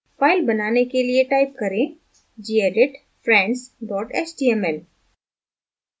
file बनाने के लिए type करें gedit friends html